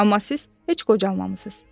Amma siz heç qocalmamısınız.